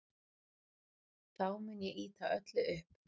Þá mun ég ýta öllu upp.